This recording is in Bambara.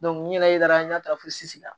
n yɛrɛ ye taara n'a ye taara fosi la